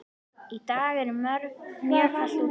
Í dag er mjög kalt úti.